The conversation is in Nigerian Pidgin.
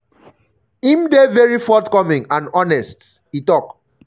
im dey very forthcoming and honest" e tok.